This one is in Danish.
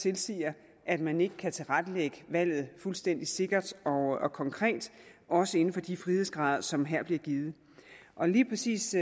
tilsiger at man ikke kan tilrettelægge valget fuldstændig sikkert og og konkret også inden for de frihedsgrader som her bliver givet og lige præcis